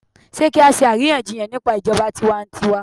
Sé kí á ṣe àríyànjiyàn nípa ijọba tiwantiwa?